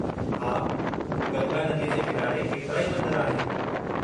हा, गंगा नदीअ जे किनारे केतिराई मंदर आहिनि।